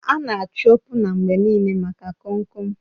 A na-achọ opuna mgbe niile maka Kom kom